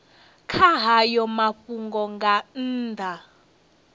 kha hayo mafhungo nga nnḓa